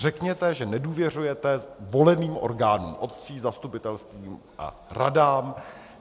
Řekněte, že nedůvěřujete voleným orgánům obcí, zastupitelstvům a radám.